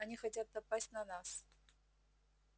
они хотят напасть на нас